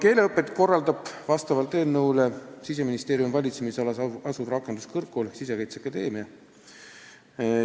Keeleõpet korraldab vastavalt eelnõule Siseministeeriumi valitsemisalas asuv rakenduskõrgkool, st Sisekaitseakadeemia.